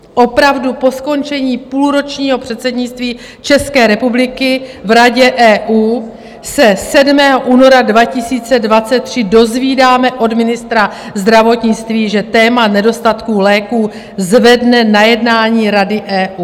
Opravdu, po skončení půlročního předsednictví České republiky v Radě EU se 7. února 2023 dozvídáme od ministra zdravotnictví, že téma nedostatků léků zvedne na jednání Rady EU?